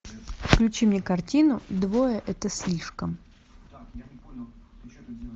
включи мне картину двое это слишком